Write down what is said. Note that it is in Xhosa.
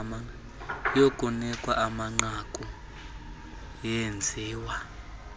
yokunikwa kwamanqaku yenziwa